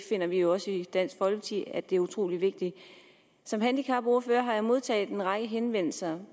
finder jo også i dansk folkeparti at det er utrolig vigtigt som handicapordfører har jeg modtaget en række henvendelser